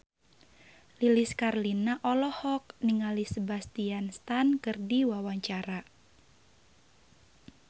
Lilis Karlina olohok ningali Sebastian Stan keur diwawancara